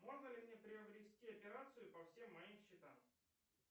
можно ли мне приобрести операцию по всем моим счетам